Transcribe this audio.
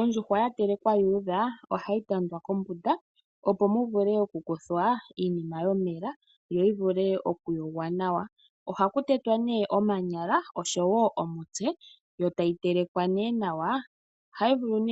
Ondjuhwa yatelekwa yuudha ohayi tandwa kombunda opo muvule okukuthwa iinima yomela, yoyi vulwe okuyogwa nawa. Ohaku tetwa omanyala oshowoo omutse, yo tayi telekelwa nawa. Ohayi vulu